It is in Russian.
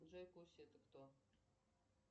джой куси это кто